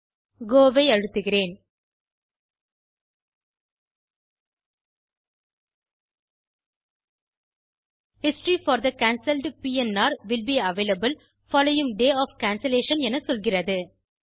கோ ஐ அழுத்துகிறேன் history for the cancelled PNR will be available following day of cancellation என சொல்கிறது